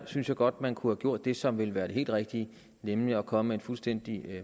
synes jeg godt man kunne have gjort det som ville være det helt rigtige nemlig komme med en fuldstændig